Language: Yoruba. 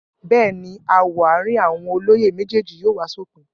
Bẹ́ẹ̀ ni, aáwọ̀ àárín àwọn olóyè méjèèjì yóò wá sópin.